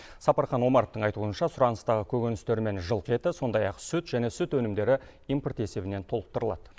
сапархан омаровтың айтуынша сұраныстағы көкөністер мен жылқы еті сондай ақ сүт және сүт өнімдері импорт есебінен толықтырылады